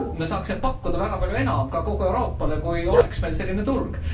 Saaksime pakkuda väga palju enam ka kogu Euroopale, kui meil oleks selline turg.